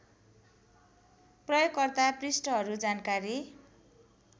प्रयोगकर्ता पृष्ठहरू जानकारी